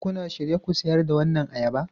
Shin kuna shirye ku sayar da waɗannan ayaba?